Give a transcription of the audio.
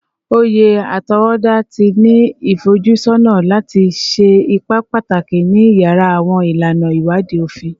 Oye atọwọda ti ni ifojusọna lati ṣe ipa pataki ni iyara awọn ilana iwadii ofin